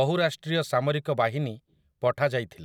ବହୁରାଷ୍ଟ୍ରୀୟ ସାମରିକ ବାହିନୀ ପଠାଯାଇଥିଲା ।